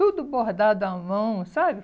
Tudo bordado à mão, sabe?